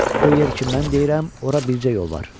O yer ki mən deyirəm, ora bircə yol var.